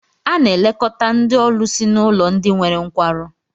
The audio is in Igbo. A na-elekọta ndị ọlụsị n'ụlọ ndị nwere nkwarụ